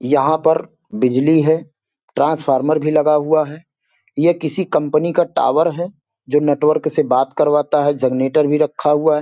यहां पर बिजली है ट्रांसफार्मर भी लगा हुआ है ये किसी कंपनी का टॉवर है जो नेटवर्क से बात करवाता है जनरेटर भी रखा हुआ है।